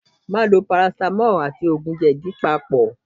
Má lo parasitamọ́ọ̀ àti òògùn jèdí papọ̀.